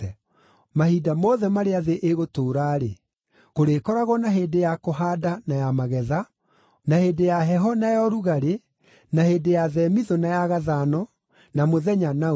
“Mahinda mothe marĩa thĩ ĩgũtũũra-rĩ, kũrĩkoragwo na hĩndĩ ya kũhaanda na ya magetha, na hĩndĩ ya heho na ya ũrugarĩ, na hĩndĩ ya themithũ na ya gathano, na mũthenya na ũtukũ.”